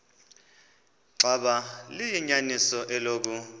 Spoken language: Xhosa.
xaba liyinyaniso eloku